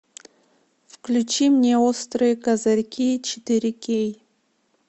включи мне острые козырьки четыре кей